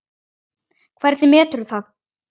Hvernig meturðu það?